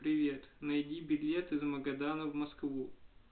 привет найди билет из магадана в москву